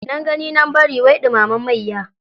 Nan gani nan bari wai dumamen mayya.